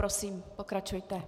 Prosím, pokračujte.